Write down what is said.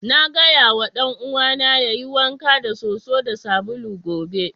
Na gaya ma dan'uwana yayi wanka da soso da sabulu gobe.